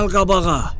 Gəl qabağa.